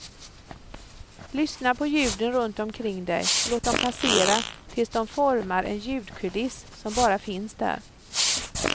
Lyssna på ljuden runt omkring dig, låt dem passera tills de formar en ljudkuliss som bara finns där.